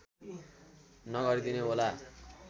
नगरिदिनु होला